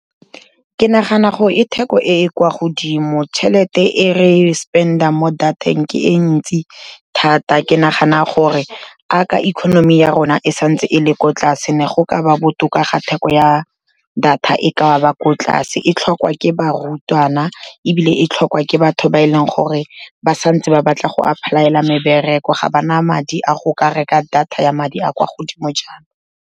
Ke nagana gore e theko e e kwa godimo, tšhelete e re spend-ang mo dateng ke e ntsi thata, ke nagana gore 'aka economy ya rona e santse e le ko tlase, ne go ka ba botoka ga theko ya data e ka ba ko tlase, e tlhokwa ke barutwana ebile e tlhokwa ke batho ba e leng gore ba santse ba batla go ka apply-ela mebereko, ga ba na madi a go ka reka data ya madi a kwa godimo jaana.